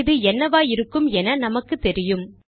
இது என்னவாயிருக்கும் என நமக்குத்தெரியும்